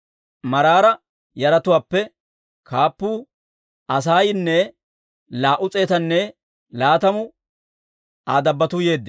Maraara yaratuwaappe kaappuu Asaayinne laa"u s'eetanne laatamu Aa dabbotuu yeeddino.